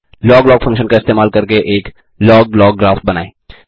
loglog function का इस्तेमाल करके एक लॉग लॉग ग्राफ बनाएँ